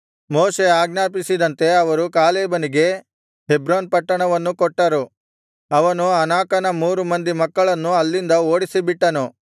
ಮೋಶೆ ಆಜ್ಞಾಪಿಸಿದಂತೆ ಅವರು ಕಾಲೇಬನಿಗೆ ಹೆಬ್ರೋನ್ ಪಟ್ಟಣವನ್ನು ಕೊಟ್ಟರು ಅವನು ಅನಾಕನ ಮೂರು ಮಂದಿ ಮಕ್ಕಳನ್ನು ಅಲ್ಲಿಂದ ಓಡಿಸಿಬಿಟ್ಟನು